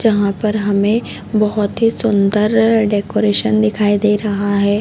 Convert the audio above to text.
जहाँ पर हमे बहोत ही सुन्दर डेकोरेशन दिखाई दे रहा है।